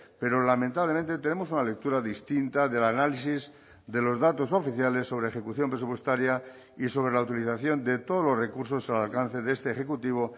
pero lamentablemente tenemos una lectura distinta del análisis de los datos oficiales sobre ejecución presupuestaria y sobre la utilización de todos los recursos al alcance de este ejecutivo